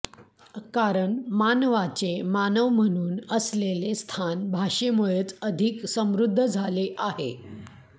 कारण मानवाचे मानव म्हणून असलेले स्थान भाषेमुळेच अधिक समृद्ध झाले आहे